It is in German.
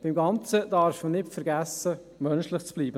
Beim Ganzen darf man nicht vergessen, menschlich zu bleiben.